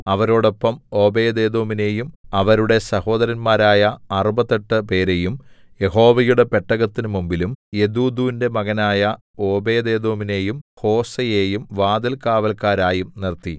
അവരോടൊപ്പം ഒബേദ്ഏദോമിനെയും അവരുടെ സഹോദരന്മാരായ അറുപത്തെട്ടു 68 പേരെയും യഹോവയുടെ പെട്ടകത്തിന്മുമ്പിലും യെദൂഥൂന്റെ മകനായ ഓബേദ്ഏദോമിനെയും ഹോസയെയും വാതിൽകാവല്ക്കാരായും നിർത്തി